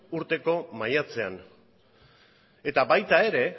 urteko maiatzean eta baita ere